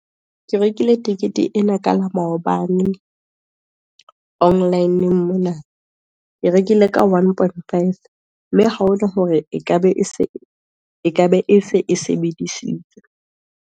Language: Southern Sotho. Ke rekile tikete ena ka la maobane, online-ng monana, ke rekile ka one point five, mme ha ho na hore ekabe e se e sebedisitswe.